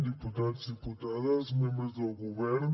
diputats i diputades membres del govern